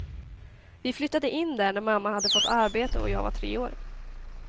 Vi flyttade in där när mamma hade fått arbete och jag var tre år.